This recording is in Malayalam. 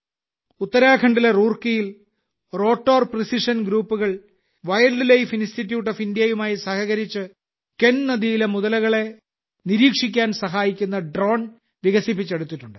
ഉത്തരാഖണ്ഡിലെ റൂർക്കിയിൽ റോട്ടോർ പ്രിസിഷൻ ഗ്രൂപ്പുകൾ വൈൽഡ്ലൈഫ് ഇൻസ്റ്റിറ്റ്യൂട്ട് ഓഫ് ഇന്ത്യയുമായി സഹകരിച്ച് കെൻ നദിയിലെ മുതലകളെ നിരീക്ഷിക്കാൻ സഹായിക്കുന്ന ഡ്രോൺ വികസിപ്പിച്ചെടുത്തിട്ടുണ്ട്